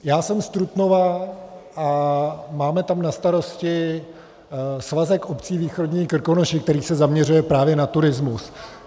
Já jsem z Trutnova a máme tam na starosti svazek obcí Východní Krkonoše, který se zaměřuje právě na turismus.